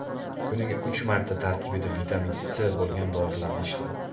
Kuniga uch marta tarkibida vitamin C bo‘lgan dorilarni ichdim.